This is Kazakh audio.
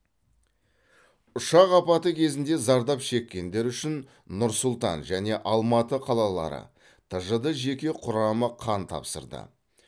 ұшақ апаты кезінде зардап шеккендер үшін нұр сұлтан және алматы қалалары тжд жеке құрамы қан тапсырды